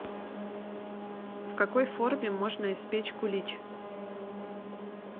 в какой форме можно испечь кулич